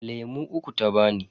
Lemu uku ta bani.